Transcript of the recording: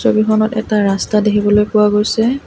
ছবিখনত এটা ৰাস্তা দেখিবলৈ পোৱা গৈছে।